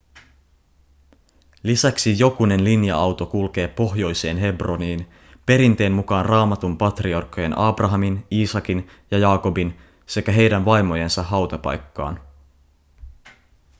lisäksi jokunen linja-auto kulkee pohjoiseen hebroniin perinteen mukaan raamatun patriarkkojen abrahamin iisakin ja jaakobin sekä heidän vaimojensa hautapaikkaan